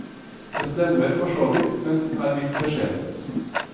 Det stemmer forsåvidt, men er litt beskjedent.